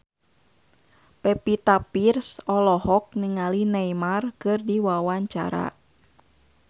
Pevita Pearce olohok ningali Neymar keur diwawancara